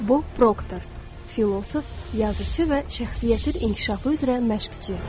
Bob Proktor, filosof, yazıçı və şəxsiyyətin inkişafı üzrə məşqçi.